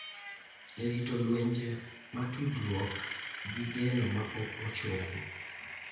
E rito lwenje ma tudruok gi geno ma pok ochopo.